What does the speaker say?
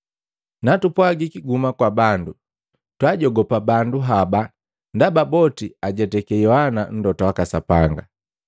Natupwagiki ‘Guhuma kwa bandu,’ twaajogopa bandu haba ndaba boti ajetake Yohana mlota waka Sapanga.”